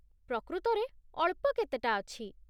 ପ୍ରକୃତରେ ଅଳ୍ପ କେତେଟା ଅଛି।